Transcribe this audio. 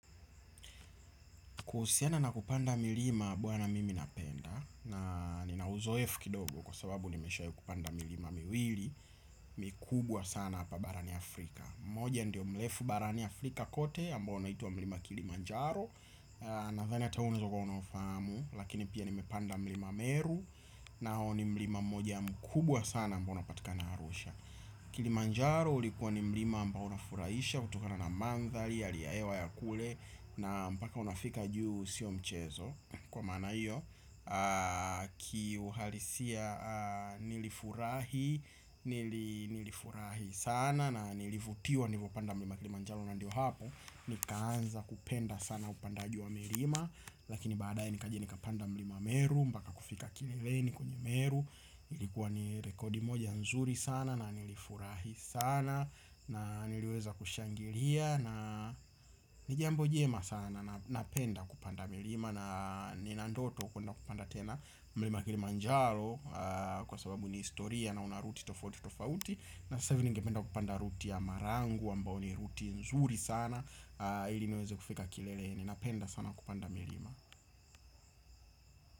Kuhusiana na kupanda milima bwana mimi napenda na nina uzoefu kidogo kwa sababu nimeshai kupanda milima miwili mikubwa sana hapa Barani Afrika. Mmoja ndio mlefu Barani Afrika kote ambao unaitwa milima Kilimanjaro. Nathani ata unaeza kuwa unaufamu lakini pia nimepanda milima meru na huo ni mlima mmoja mkubwa sana ambao unapatika na arusha. Kilimanjaro ulikuwa ni milima ambao unafuraisha kutokana na mandhali halia ewa ya kule. Na mpaka unafika juu sio mchezo Kwa maana hiyo Kiuhalisia nilifurahi. Nilifurahi sana. Na nilivutiwa nivo panda mlima kilimanjalo na ndio hapo. Nikaanza kupenda sana upandaji wa milima. Lakini baadaye nikajini kapanda mlima meru. Mpaka kufika kileleni kwenye meru. Ilikuwa ni rekodi moja nzuri sana. Na nilifurahi sana. Na niliweza kushangilia na nijiambo jema sana na napenda kupanda milima na nina ndoto kwenda kupanda tena milima kilimanjaro kwa sababu ni historia na unaruti tofauti tofauti na sasa hivi ningependa kupanda ruti ya marangu ambao ni ruti nzuri sana ili niweze kufika kileleni napenda sana kupanda milima.